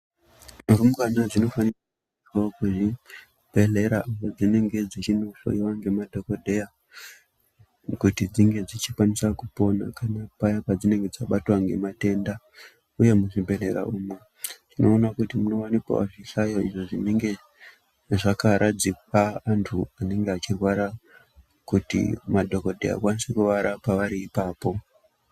Rumbwana dzinofanira wo kuenda kuzvibhehleya kwadzinenge dzechinohloyiwa ngemadhokodheya kuti dzinge dzichikwanisawo kupona kana paya padzinenge dzabatwa ngematenda, uye muzvibhehleya umu tinoona kuti munowanikwawo zvihlayo izvo zvinenge zvakaradzikwa antu anenge achirwara kuti madhokodheya ange achikwanisa kuarapa ariipapo.